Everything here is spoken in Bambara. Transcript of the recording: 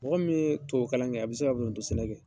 Mɔgɔ min ye tubabu kalan kɛ, a bi se ka foronto sɛnɛ kɛ.